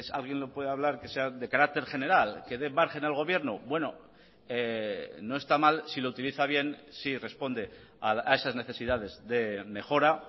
alguien lo puede hablar que sea de carácter general que de margen al gobierno bueno no está mal si lo utiliza bien si responde a esas necesidades de mejora